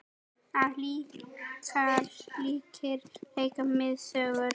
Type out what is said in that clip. Það segir líka mikla sögu.